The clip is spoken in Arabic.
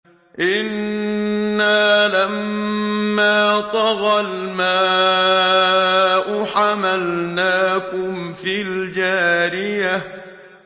إِنَّا لَمَّا طَغَى الْمَاءُ حَمَلْنَاكُمْ فِي الْجَارِيَةِ